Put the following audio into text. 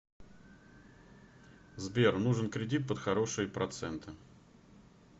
сбер нужен кредит под хорошие проценты